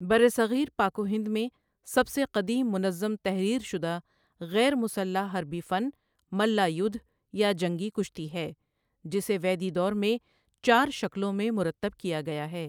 برصغیر پاک و ہند میں سب سے قدیم منظم تحریر شدہ غیر مسلح حربی فن ملّہ یدھ یا جنگی کشتی ہے، جسے ویدی دور میں چار شکلوں میں مرتب کیا گیا ہے۔